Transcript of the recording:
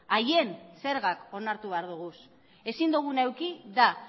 haien zergak onartu behar ditugu ezin duguna eduki da